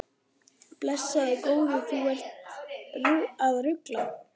Blessaður góði, þú ert að rugla!